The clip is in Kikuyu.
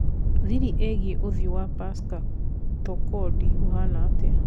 thĩrĩ ĩigĩe ũthiũ wa Pascal Tokodi ũhana atĩa